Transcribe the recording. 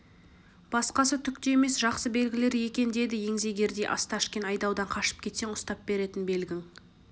басқасы түк те емес жақсы белгілер екен деді еңгезердей осташкин айдаудан қашып кетсең ұстап беретін белгің